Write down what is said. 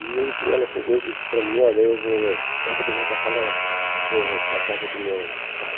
E um dia ela chegou e disse para mim, olha, eu vou sábado eu vou passar na vou para a casa do meu pai.